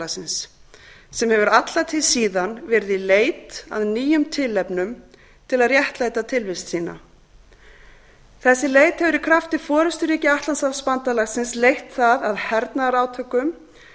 atlantshafsbandalagsins sem hefur alla tíð síðan verið í leit að nýjum tilefnum til að réttlæta tilvist sína þessi leit hefur í krafti forusturíkja atlantshafsbandalagsins leitt það að hernaðarátökum